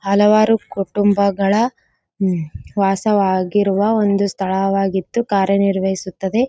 ಹಲವಾರು ಕುಟುಂಬಗಳ ವಾಸವಾಗಿರುವ ಒಂದು ಸ್ಥಳವಾಗಿತ್ತು ಕಾರ್ಯ ನಿರ್ವಹಿಸುತ್ತದೆ.